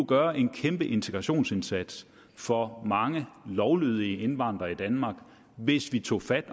gøre en kæmpe integrationsindsats for mange lovlydige indvandrere i danmark hvis vi tog fat